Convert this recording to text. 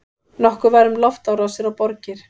Nokkuð var um loftárásir á borgir.